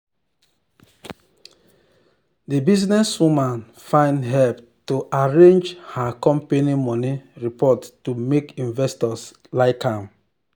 the businesswoman find help to arrange her company money report to make investors like am.